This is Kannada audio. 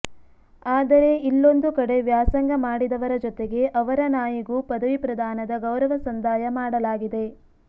ಆದರೆ ಇಲ್ಲೊಂದು ಕಡೆ ವ್ಯಾಸಂಗ ಮಾಡಿದವರ ಜೊತೆಗೆ ಅವರ ನಾಯಿಗೂ ಪದವಿ ಪ್ರದಾನದ ಗೌರವ ಸಂದಾಯ ಮಾಡಲಾಗಿದೆ